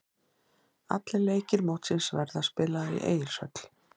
Allir leikir mótsins verða spilaðir í Egilshöll.